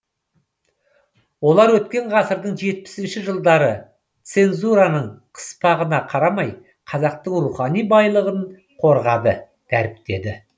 олар өткен ғасырдың жетпісінші жылдары цензураның қыспағына қарамай қазақтың рухани байлығын қорғады дәріптеді